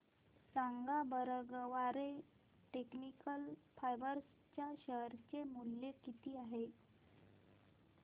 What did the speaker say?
सांगा बरं Garware technical fibres च्या शेअर चे मूल्य किती आहे